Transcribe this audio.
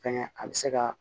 Fɛnkɛ a bɛ se ka